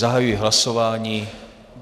Zahajuji hlasování.